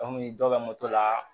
dɔ bɛ moto la